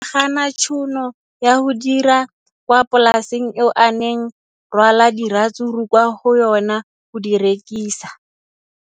O ne a gana tšhono ya go dira kwa polaseng eo a neng rwala diratsuru kwa go yona go di rekisa.